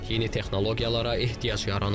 Yeni texnologiyalara ehtiyac yaranıb.